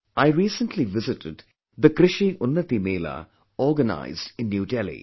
I recently visited the Krishi Unnati Mela organized in New Delhi